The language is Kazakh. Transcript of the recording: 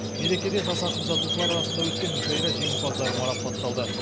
мерекеде жас ақын жазушылар арасында өткен мүшайра жеңімпаздары марапатталды